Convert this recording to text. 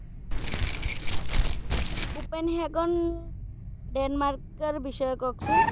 Upen হেগন Denmark এর বিষয়ে কহেন তো?